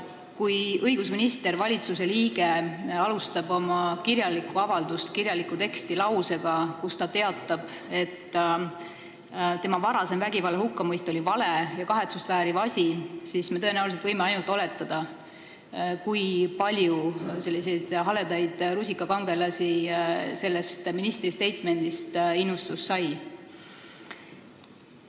Kui õigusminister, riigi valitsuse liige, alustab oma kirjalikku avaldust lausega, kus ta teatab, et tema varasem vägivalla hukkamõist oli vale ja kahetsust vääriv asi, siis me võime oletada, kui palju selliseid haledaid rusikakangelasi sellest ministri statement'ist innustust sai.